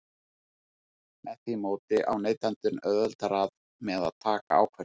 Með því móti á neytandinn auðveldara með að taka ákvörðun.